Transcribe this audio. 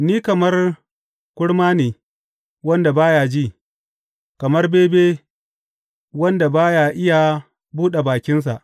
Ni kamar kurma ne, wanda ba ya ji, kamar bebe, wanda ba ya iya buɗe bakinsa.